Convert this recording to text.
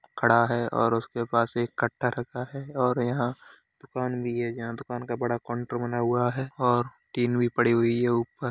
खड़ा है और उसके पास एक कट्टा रखा है और यहाँ दुकान भी है। यहाँ दुकान का बड़ा काउंटर बना हुआ है और टिन भी पड़ी हुई है ऊपर।